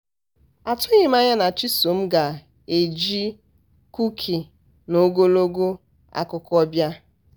atụghị m anya na chisom ga-eji kuki na ogologo akụkọ bịa.